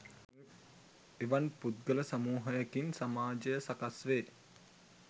එවන් පුද්ගල සමූහයකින් සමාජය සකස් වේ